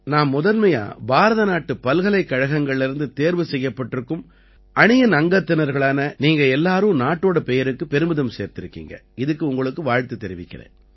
நான் முதன்மையா பாரதநாட்டு பல்கலைக்கழகங்கள்லேர்ந்து தேர்வு செய்யப்பட்டிருக்கும் அணியின் அங்கத்தினர்களான நீங்க எல்லாரும் நாட்டோட பெயருக்குப் பெருமிதம் சேர்த்திருக்கீங்க இதுக்கு உங்களுக்கு வாழ்த்துத் தெரிவிக்கறேன்